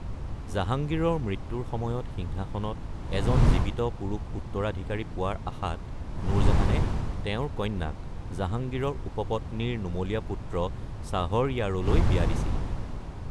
জাহাংগীৰৰ মৃত্যুৰ সময়ত সিংহাসনত এজন জীৱিত পুৰুষ উত্তৰাধিকাৰী পোৱাৰ আশাত নুৰজাহানে তেওঁৰ কন্যাক জাহাংগীৰৰ উপপত্নীৰ নোমলীয়া পুত্ৰ শ্বাহৰয়াৰলৈ বিয়া দিছিল।